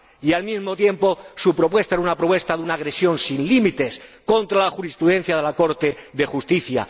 Y, al mismo tiempo, su propuesta era una propuesta de una agresión sin límites contra la jurisprudencia del Tribunal de Justicia.